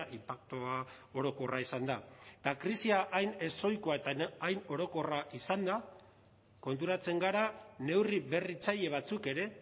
inpaktua orokorra izan da eta krisia hain ezohikoa eta hain orokorra izanda konturatzen gara neurri berritzaile batzuk ere